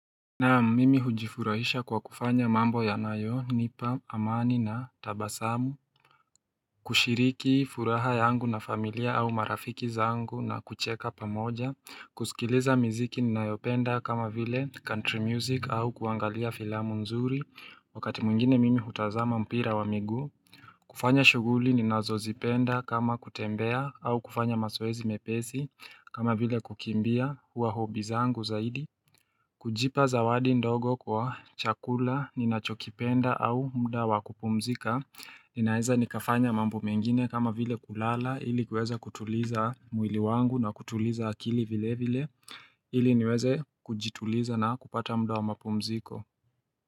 Naam, mimi hujifurahisha kwa kufanya mambo yanayonipa amani na tabasamu, kushiriki furaha yangu na familia au marafiki zangu na kucheka pamoja, kusikiliza miziki ninayopenda kama vile country music au kuangalia filamu nzuri, wakati mwingine mimi hutazama mpira wa miguu kufanya shughuli ninazozipenda kama kutembea au kufanya mazoezi mepesi kama vile kukimbia huwa hobby zangu zaidi kujipa zawadi ndogo kwa chakula ninachokipenda au muda wa kupumzika, Ninaeza nikafanya mambo mengine kama vile kulala, ili kuweza kutuliza mwili wangu na kutuliza akili vilevile ili niweze kujituliza na kupata muda wa mapumziko.